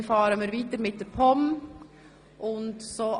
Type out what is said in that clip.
Danach fahren wir weiter mit den Geschäften der POM.